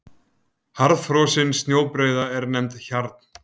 Harðfrosin snjóbreiða er nefnd hjarn.